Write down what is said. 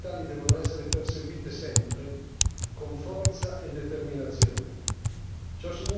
Queste linee fondamentali devono essere perseguite sempre con forza e determinazione.